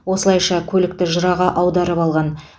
осылайша көлікті жыраға аударып алған